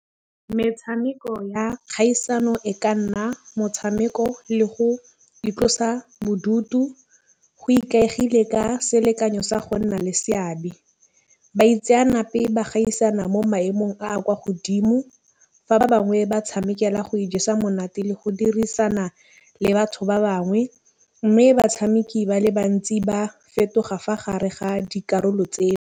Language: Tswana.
Metšhameko ya kgaisano e ka nna motšhameko le go itlosa bodutu go ikaegile ka selekanyo sa go nna le seabe. Baitseanape ba tsena mo maemong a a kwa godimo. Fa ba bangwe ba tšhamekela go ijesa monate le go dirisana le batho ba bangwe, mme batšhameki ba le bantsi ba fetoga fa gare ga dikarolo .